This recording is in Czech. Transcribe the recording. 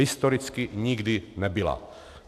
Historicky nikdy nebyla.